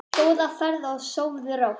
Góða ferð og sofðu rótt.